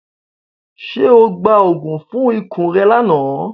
Ṣe o gba oogun fun ikun rẹ lana?